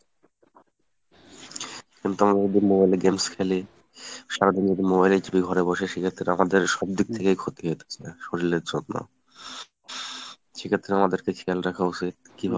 কিন্তু আমরা যদি mobile এ games খেলি, সারাদিন যদি mobile ই টিপি ঘরে বসে, সেক্ষেত্রে আমাদের সবদিক থেকেই ক্ষতি হইতেছে শরিল এর জন্য, সেক্ষেত্রে আমাদের খেয়াল রাখা উচিৎ কিভাবে